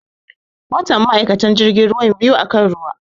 Watan ma'aikatan jirgin ruwan biyu akan ruwa